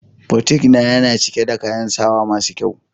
"boutique"na, Yana cike da kayan sawa masu kyau.